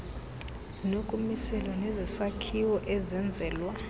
zinokumiselwa nezesakhiwo esenzelwa